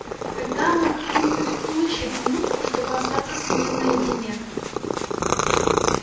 тогда она как-нибудь улучит минутку чтобы остаться с ним наедине